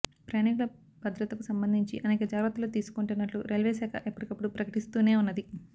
ప్రయాణీకుల భద్రతకు సంబంధించి అనేకజాగ్రత్తలు తీసుకొంటున్నట్లు రైల్వేశాఖ ఎప్పటికప్పుడు ప్రకటిస్తూనే ఉన్నది